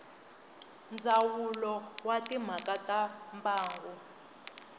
ndzawulo wa timhaka ta mbango